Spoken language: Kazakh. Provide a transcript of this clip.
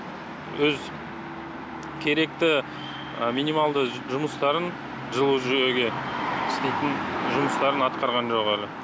өз керекті минималды жұмыстарын жылу жүйеге істейтін жұмыстарын атқарған жоқ әлі